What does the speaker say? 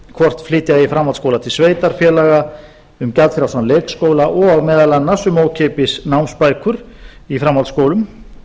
hvort flytja eigi framhaldsskóla til sveitarfélaga um gjaldfrjálsan leikskóla og meðal annars um ókeypis námsbækur í framhaldsskólum